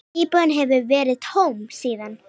Íbúðin hefur verið tóm síðan.